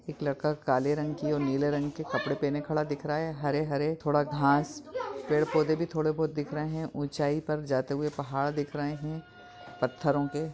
एक लड़का काले रंग की और नीले रंग के कपड़े पहने खड़ा दिख रहा है हरे-हरे थोड़ा घास पेड़ पौधे भी थोड़े बहुत दिख रहे हैं ऊंचाई पर जाते हुए पहाड़ देख रहे हैं पत्थरों के।